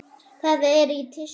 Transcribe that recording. Það er í tísku.